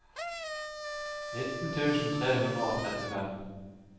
nitten tusen tre hundre og trettifem